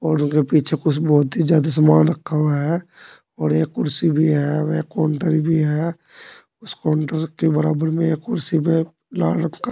और ओके पीछे कुछ बहुत ही ज्यादा सामान रखा हुआ हैं और एक कुर्सी भी है। वे काउंटर भी है। उस काउंटर के बराबर में एक कुर्सी भी है लाल रंग का।